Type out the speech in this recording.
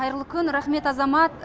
қайырлы күн рахмет азамат